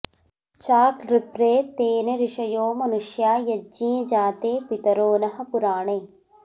चा॒कॢ॒प्रे तेन॒ ऋष॑यो मनु॒ष्या॑ य॒ज्ञे जा॒ते पि॒तरो॑ नः पुरा॒णे